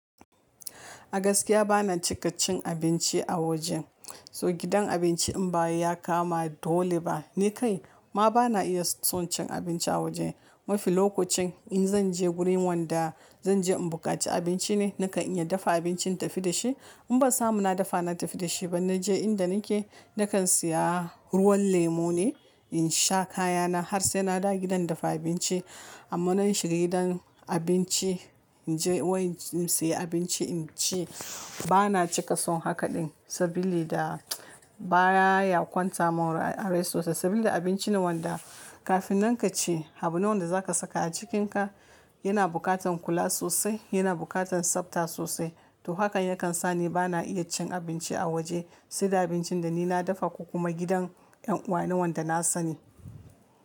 A gaskiya bana cika cin abinci a waje. So gidan abinci in bay ya kama dole ba, ni kai ma bana iya son cin abinci a waje. Mafi lokacin in zanje gurin wanda zanje in buƙaci abinci ne, nakan iya dafa abincin tafi da shi. In ban samu na dafa na tafi da shi ba, naje inda nake, nakan siya ruwan lemu ne in sha kayana har sai na dawo gidan dafa abinci. Amma nayi shiga gidan abinci, inje wai in siya abinci in ci bana cika son haka din sabilida baya yakwanta mun a rai sosai sabilida abinci ne wanda kafin nan kace abu newanda zaka saka a cikinka yana buƙatan kula sosai, yana buƙatan tsabta sosai. To hakan yakan sa ni bana iya cin abinci a waje sai da abincin da ni na dafa ko kuma gidan en uwa na wanda na sani.